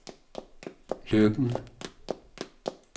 Løkken